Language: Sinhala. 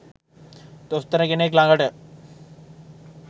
දොස්තර කෙනෙක් ලගට